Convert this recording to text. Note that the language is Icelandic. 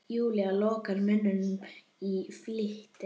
Júlía lokar munni í flýti.